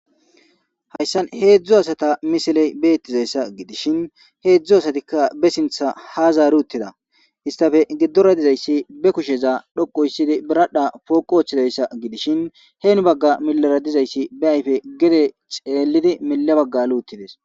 Hayssan hezhzhu asata missiley bettes hezhzhu asatikka be sinththa ha zari. Isitappe giddora dizayssi be kusheza dhoqu histtidi biradha poqi wothidayssa gidishin hen bagara xelidi mile bagga ali uttidess.